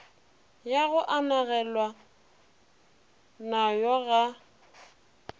ya go agelana nayo ga